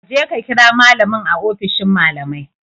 Kaje ka kira malamin a ofishin malamai